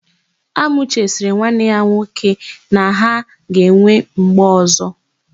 Amuche sịrị nwanne ya nwoke na ha ga-enwe mgbe ọ̀zọ́.